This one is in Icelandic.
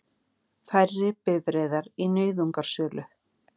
Færri bifreiðar í nauðungarsölu